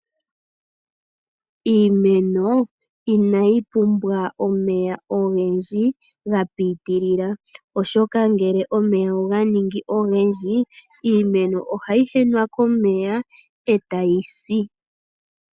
Iimeno inayi pumbwa omeya ogendji ga pitilila, oshoka ngele omeya oga ningi ogendji, iimeno ohayi henwa komeya eta yi si.